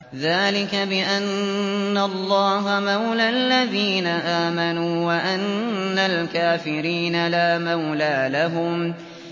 ذَٰلِكَ بِأَنَّ اللَّهَ مَوْلَى الَّذِينَ آمَنُوا وَأَنَّ الْكَافِرِينَ لَا مَوْلَىٰ لَهُمْ